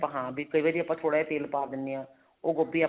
ਹਾਂ ਵੀ ਕਈ ਵਾਰੀ ਆਪਾਂ ਥੋੜਾ ਜਾ ਤੇਲ ਪਾ ਦਿੰਨੇ ਹਾਂ ਉਹ ਗੋਭੀ